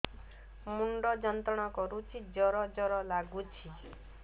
ମୁଣ୍ଡ ଯନ୍ତ୍ରଣା କରୁଛି ଜର ଜର ଲାଗୁଛି